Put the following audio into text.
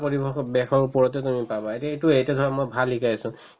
পৰিৱেশত ওপৰতে তুমি পাবা সেইটো এইটোয়ে এতিয়া ধৰা মই ভাল শিকাই আছো